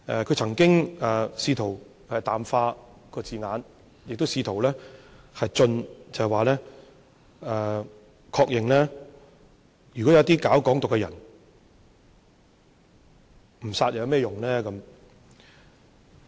他曾經試圖淡化字眼，亦試圖進取，即確認說對於搞"港獨"的人，不殺有何用。